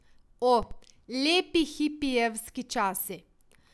O, lepi hipijevski časi!